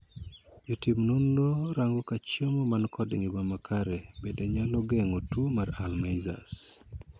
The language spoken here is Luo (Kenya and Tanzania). Jotim nonro rango ka chemo man kod ngima makare bende nyalo geng'o tuo mar 'Alzheimer' .